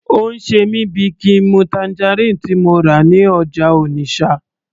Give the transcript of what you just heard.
Ó ń ṣe mí bíi kín n mu tangerine tí mo rà ní ọjà Onitsha